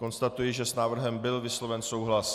Konstatuji, že s návrhem byl vysloven souhlas.